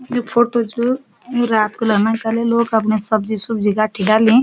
You photo च यू रात कु लगणी लोक अपणे सब्जी सुबजी कट्ठी करणी।